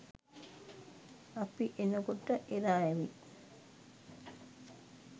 අපි එනකොට එරා ඇවිත්